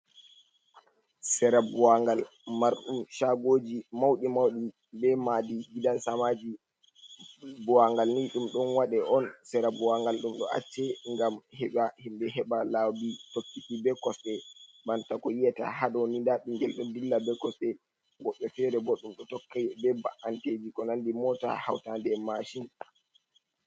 Sera buwagal majum chagoji mauɗi mauɗi be madi gidan sama ji, bowangal ni ɗum ɗon wade on sera buwangal ɗum ɗo acce ngam heɓa himbe heɓa laabi tokkaki ɓe kosɗe, banta ko yiyata haɗoni nda bingel ɗo dilla ɓe kosɗe woɓɓe fere bo ɗum ɗo tokka be ba’ankeji ko nandi mota hautande en mashin.